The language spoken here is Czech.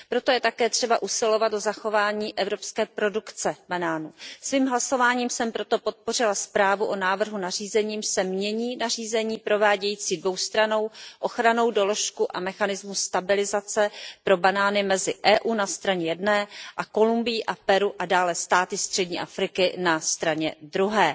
Proto je také třeba usilovat o zachování evropské produkce banánů. Svým hlasováním jsem proto podpořila zprávu o návrhu nařízení, jímž se mění nařízení provádějící dvoustrannou ochrannou doložku a mechanismus stabilizace pro banány mezi EU na straně jedné a Kolumbií a Peru a dále státy střední Afriky na straně druhé.